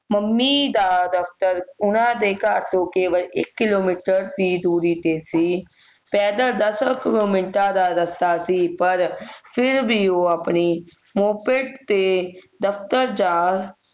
mummy ਦਾ ਦਫਤਰ ਉਨ੍ਹਾਂ ਦਾ ਘਰ ਤੋਂ ਇਕ ਕਿਲੋਮੀਟਰ ਦੀ ਦੂਰੀ ਤੇ ਸੀ ਪੈਦਲ ਦਸਾਂ ਮਿੰਟਾਂ ਦਾ ਰਸਤਾ ਸੀ ਪਰ ਫਿਰ ਵੀ ਉਹ ਅਪਣੀ moped ਤੇ ਦਫਤਰ ਜਾਣ